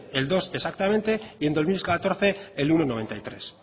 el dos exactamente y en dos mil catorce el uno coma noventa y tres